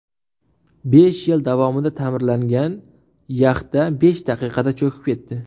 Besh yil davomida ta’mirlangan yaxta besh daqiqada cho‘kib ketdi .